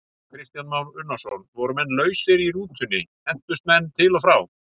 Kristján Már Unnarsson: Voru menn lausir í rútunni, hentust menn til og frá?